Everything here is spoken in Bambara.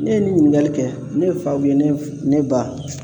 Ne ye nin ɲininkali kɛ ne faw ye ne f ne ba